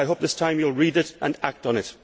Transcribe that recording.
I hope this time you will read it and act on it.